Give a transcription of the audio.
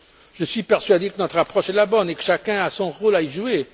Je suis persuadé que notre approche est la bonne et que chacun a son rôle à y jouer.